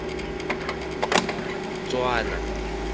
tswana